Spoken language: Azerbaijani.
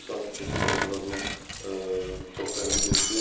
Sanki keçən dəfə biraz onu çox tənqid etdim.